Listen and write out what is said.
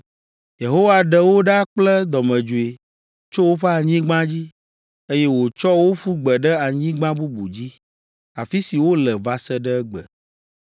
Yehowa ɖe wo ɖa kple dɔmedzoe tso woƒe anyigba dzi, eye wòtsɔ wo ƒu gbe ɖe anyigba bubu dzi, afi si wole va se ɖe egbe.”